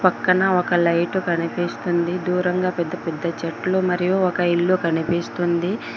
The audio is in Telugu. పక్కన ఒక లైట్ కనిపిస్తుంది దూరంగా పెద్దపెద్ద చెట్లు మరియు ఒక ఇల్లు కనిపిస్తుంది.